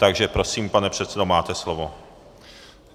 Takže prosím, pane předsedo, máte slovo.